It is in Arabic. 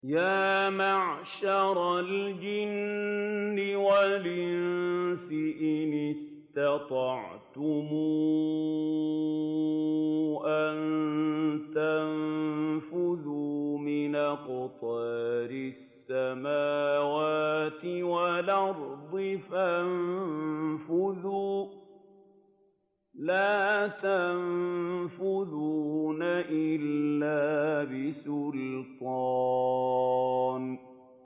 يَا مَعْشَرَ الْجِنِّ وَالْإِنسِ إِنِ اسْتَطَعْتُمْ أَن تَنفُذُوا مِنْ أَقْطَارِ السَّمَاوَاتِ وَالْأَرْضِ فَانفُذُوا ۚ لَا تَنفُذُونَ إِلَّا بِسُلْطَانٍ